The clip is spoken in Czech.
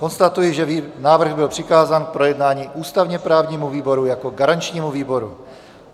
Konstatuji, že návrh byl přikázán k projednání ústavně-právnímu výboru jako garančnímu výboru.